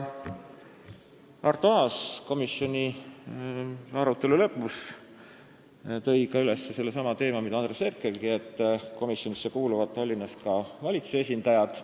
Arto Aas võttis komisjoni arutelu lõpus üles selle teema, mida markeeris ka Andres Herkel, et komisjonidesse kuuluvad Tallinnas ka linnavalitsuse esindajad.